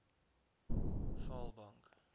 vaalbank